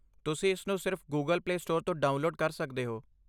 ਤੁਸੀਂ ਇਸਨੂੰ ਸਿਰਫ਼ ਗੂਗਲ ਪਲੇ ਸਟੋਰ ਤੋਂ ਡਾਊਨਲੋਡ ਕਰ ਸਕਦੇ ਹੋ।